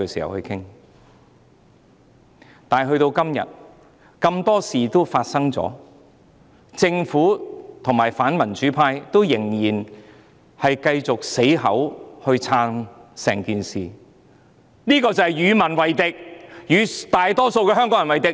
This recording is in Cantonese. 然而，至今已發生了很多事情，政府及反民主派仍然繼續堅持"撐"整件事，這便是與民為敵，與大多數香港人為敵。